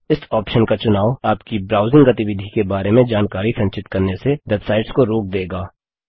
इस ऑप्शन का चुनाव आपकी ब्राउजिंग गतिविधि के बारे में जानकारी संचित करने से वेबसाइट्स को रोक देगा